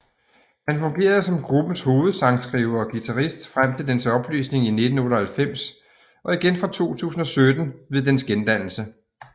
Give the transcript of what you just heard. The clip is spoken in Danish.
Han fungerede som gruppens hovedsangskriver og guitarist frem til dens opløsning i 1998 og igen fra 2017 ved dens gendannelse